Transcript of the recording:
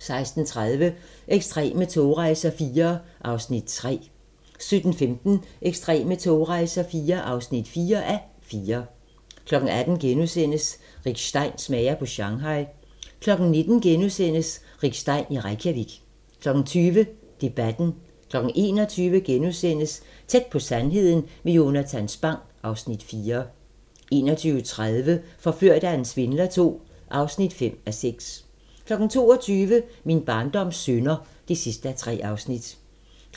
16:30: Ekstreme togrejser IV (3:4) 17:15: Ekstreme togrejser IV (4:4) 18:00: Rick Stein smager på Shanghai * 19:00: Rick Stein i Reykjavik * 20:00: Debatten 21:00: Tæt på sandheden med Jonatan Spang (Afs. 4)* 21:30: Forført af en svindler II (5:6) 22:00: Min barndoms synder (3:3) 23:00: